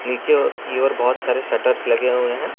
नीचे की ओर बहोत सारे शटर्स लगे हुए है।